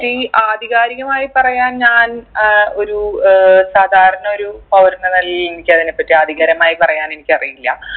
ഈ ആധികാരികമായി പറയാൻ ഞാൻ ഏർ ഒരു ഏർ സാധാരണ ഒരു പൗരൻ എന്ന നിലയിൽ എനിക്ക് അതിനെ പറ്റി ആധികാരികമായി പറയാൻ എനിക്കറിയില്ല